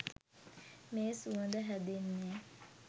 මේ සුවඳ හැදෙන්නේ